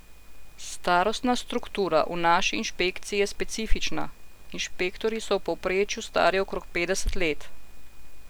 Starostna struktura v naši inšpekciji je specifična, inšpektorji so v povprečju stari okrog petdeset let.